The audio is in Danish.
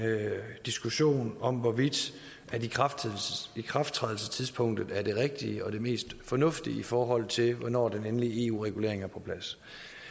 diskussion om hvorvidt ikrafttrædelsestidspunktet er det rigtige og det mest fornuftige i forhold til hvornår den endelige eu regulering er på plads